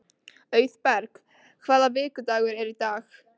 Auðberg, hvaða vikudagur er í dag?